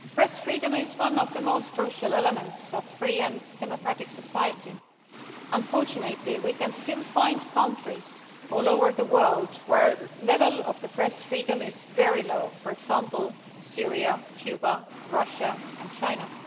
Madam President, press freedom is one of the most crucial elements of a free and democratic society. Unfortunately, we can still find countries all over the world where the level of press freedom is very low, for example Syria, Cuba, Russia and China.